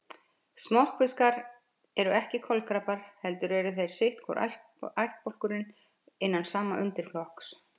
Smokkfiskar eru ekki kolkrabbar heldur eru þetta sitt hvor ættbálkurinn innan sama undirflokks.